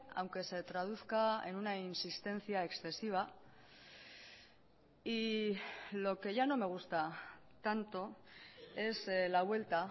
aunque se traduzca en una insistencia excesiva y lo que ya no me gusta tanto es la vuelta